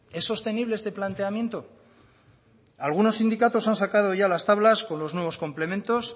es sostenible este planteamiento algunos sindicatos han sacado ya las tablas con los nuevos complementos